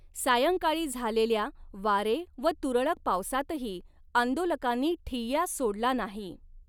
सायंकाळी झालेल्या वारे व तुरळक पावसातही आंदोलकांनी ठिय्या सोडला नाही.